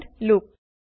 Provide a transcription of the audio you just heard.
and loop